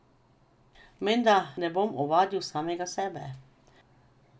Menda ne bom ovadil samega sebe!